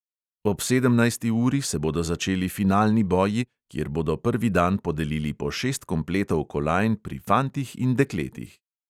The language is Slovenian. Ob sedemnajsti uri se bodo začeli finalni boji, kjer bodo prvi dan podelili po šest kompletov kolajn pri fantih in dekletih.